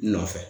Nɔfɛ